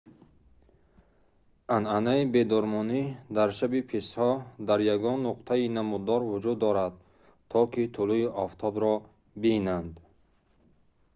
анъанаи бедормонӣ дар шаби писҳо дар ягон нуқтаи намуддор вуҷуд дорад то ки тулӯи офтобро бинанд